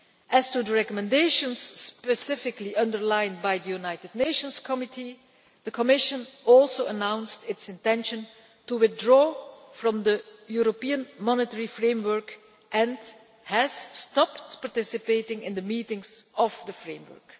As to the recommendations specifically underlined by the UN Committee, the Commission also announced its intention to withdraw from the European Monitoring Framework and has stopped participating in the meetings of the Framework.